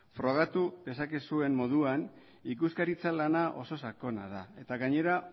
frogatu dezakezuen moduan ikuskaritza lana oso sakona da eta gainera